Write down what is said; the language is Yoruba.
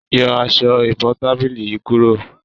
Yọ Aṣọ ìbotábílì yí kúrò!